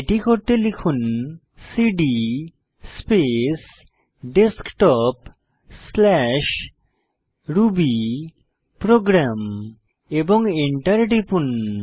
এটি করতে লিখুন সিডি স্পেস desktopরুবিপ্রোগ্রাম এবং এন্টার টিপুন